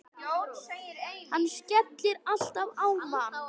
Hann skellir alltaf á mann!